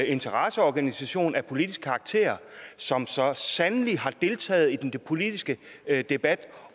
interesseorganisation af politisk karakter som så sandelig har deltaget i den politiske debat